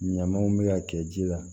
Ɲamaw bɛ ka kɛ ji la